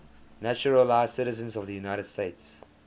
naturalized citizens of the united states